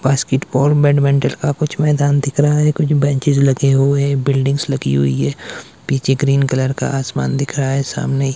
basketball badminton का कुछ मैदान दिख रहा है कुछ बेंचेज लगे हुए हैं बिल्डिंग लगी हुई है पीछे ग्रीन कलर का आसमान दिख रहा है सामने ही --